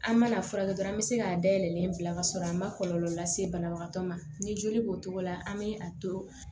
An mana furakɛ dɔrɔn an bɛ se k'a dayɛlɛ bila ka sɔrɔ a ma kɔlɔlɔ lase banabagatɔ ma ni joli b'o cogo la an bɛ a to